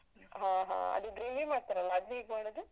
ಹಾ ಹಾ ಅದು gravy ಮಾಡ್ತಾರಲ್ಲ ಅದ್ ಹೇಗ್ ಮಾಡದು?